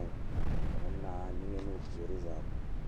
eŋ a kyɛle bazaa.